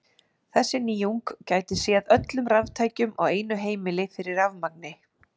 Þessi nýjung gæti séð öllum raftækjum á einu heimili fyrir rafmagni.